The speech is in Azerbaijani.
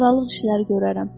Aralıq işləri görərəm.